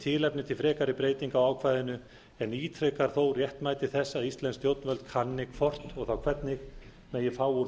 tilefni til frekari breytinga á ákvæðinu en ítrekar þó réttmæti þess að íslensk stjórnvöld kanni hvort og þá hvernig megi fá